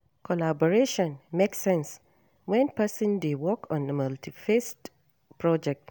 Collaboration make sense when person dey work on multi faceted project